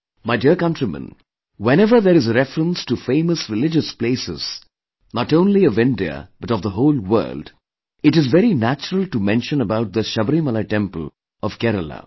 My dear countrymen, whenever there is a reference to famous religious places, not only of India but of the whole world, it is very natural to mention about the Sabrimala temple of Kerala